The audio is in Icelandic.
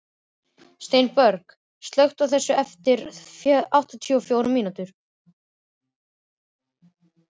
Steinborg, slökktu á þessu eftir áttatíu og fjórar mínútur.